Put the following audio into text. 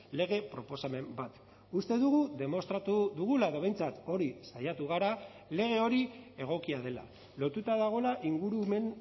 lege proposamen bat uste dugu demostratu dugula edo behintzat hori saiatu gara lege hori egokia dela lotuta dagoela ingurumen